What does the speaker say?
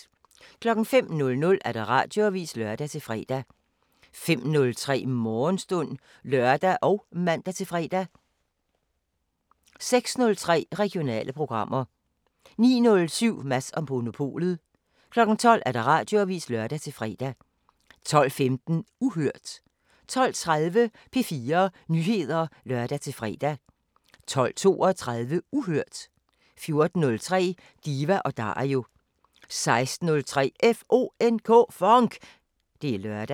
05:00: Radioavisen (lør-fre) 05:03: Morgenstund (lør og man-fre) 06:03: Regionale programmer 09:07: Mads & Monopolet 12:00: Radioavisen (lør-fre) 12:15: Uhørt 12:30: P4 Nyheder (lør-fre) 12:32: Uhørt 14:03: Diva & Dario 16:03: FONK! Det er lørdag